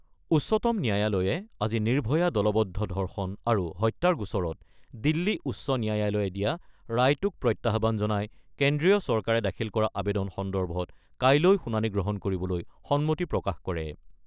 উচ্চতম ন্যায়ালয়ে আজি নিৰ্ভয়া দলবদ্ধ ধৰ্ষণ আৰু হত্যাৰ গোচৰত দিল্লী উচ্চ ন্যায়ালয়ে দিয়া ৰায়টোক প্ৰত্যাহ্বান জনাই কেন্দ্ৰীয় চৰকাৰে দাখিল কৰা আবেদন সন্দৰ্ভত কাইলৈ শুনানি গ্ৰহণ কৰিবলৈ সন্মতি প্ৰকাশ কৰে।